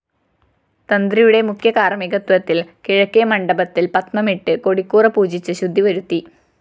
തന്ത്രിയുടെ മുഖ്യകാര്‍മികത്വത്തില്‍ കിഴക്കേ മണ്ഡപത്തില്‍ പത്മമിട്ട് കൊടിക്കൂറ പൂജിച്ച് ശുദ്ധിവരുത്തി